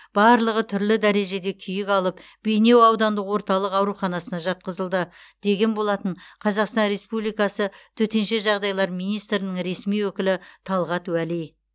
барлығы түрлі дәреже күйік алып бейнеу аудандық орталық ауруханасына жатқызылды деген болатын қазақстан республикасы төтенше жағдайлар министрінің ресми өкілі талғат уәли